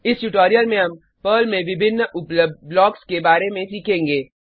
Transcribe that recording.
इस ट्यूटोरियल में हम पर्ल में विभिन्न उपलब्ध ब्लॉक्स के बारे में सीखेंगे